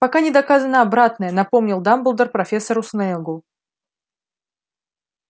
пока не доказано обратное напомнил дамблдор профессору снеггу